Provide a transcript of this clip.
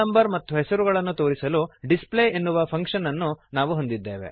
ಮತ್ತು ಹೆಸರು ಗಳನ್ನು ತೋರಿಸಲು ಡಿಸ್ಪ್ಲೇ ಎನ್ನುವ ಫಂಕ್ಶನ್ ಅನ್ನು ನಾವು ಹೊಂದಿದ್ದೇವೆ